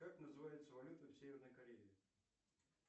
как называется валюта в северной корее